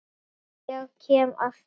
Ég kem að því.